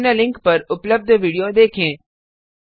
निम्न लिंक पर उपलब्ध विडियो देखें